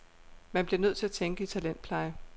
Man bliver nødt til at tænke i talentpleje.